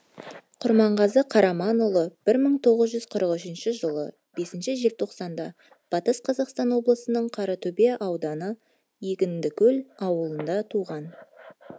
құрманғазы қараманұлы бір мың тоғыз жүз қырық үшінші жылы бесінші желтоқсанда батыс қазақстан облысының қаратөбе ауданы егіндікөл ауылында туған